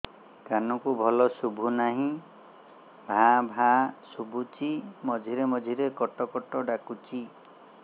କାନକୁ ଭଲ ଶୁଭୁ ନାହିଁ ଭାଆ ଭାଆ ଶୁଭୁଚି ମଝିରେ ମଝିରେ କଟ କଟ ଡାକୁଚି